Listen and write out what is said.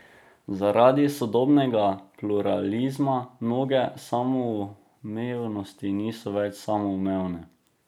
Zaradi sodobnega pluralizma mnoge samoumevnosti niso več samoumevne.